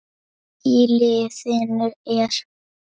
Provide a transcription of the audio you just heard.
Í liðinu eru